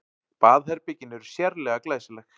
Baðherbergin eru sérlega glæsileg